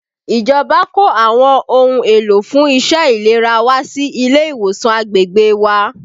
Ìjọba kó àwọn ohun èlò fún iṣẹ́ ìlera wá sí ilé ìwòsàn agbègbè wa